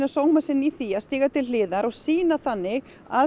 sóma sinn í því að stíga til hliðar og sýna þannig að